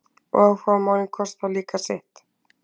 Og áhugamálin kosta líka sitt.